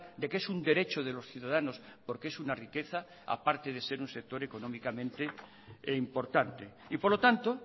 de que es un derecho de los ciudadanos porque es una riqueza a parte de ser un sector económicamente e importante y por lo tanto